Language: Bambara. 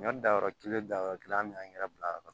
Ɲɔ danyɔrɔ kelen dayɔrɔ kelen an be angɛrɛ bila yɔrɔ min